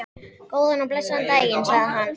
Góðan og blessaðan daginn, sagði hann.